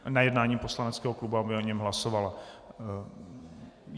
Na jednání poslaneckého klubu, aby o něm hlasovala.